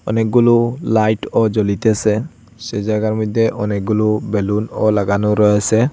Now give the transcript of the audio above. অনেকগুলো লাইটও জ্বলিতেসে সে জায়গার মধ্যে অনেকগুলো বেলুনও লাগানো রয়েসে।